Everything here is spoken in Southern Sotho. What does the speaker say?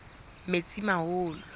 metsimaholo